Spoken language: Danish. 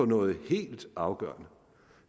noget helt afgørende